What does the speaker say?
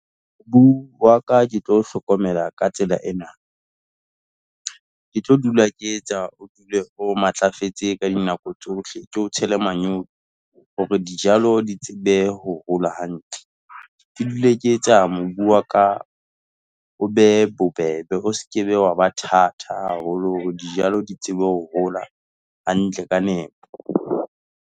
Mobu wa ka ke tlo o hlokomela ka tsela ena, ke tlo dula ke etsa o dule o matlafetse ka dinako tsohle, ke o tshele manyowa, hore dijalo di tsebe ho hola hantle. Ke dule ke etsa mobu ka o be bobebe, o se ke be wa ba thata haholo hore dijalo di tsebe hola hantle ka nepo.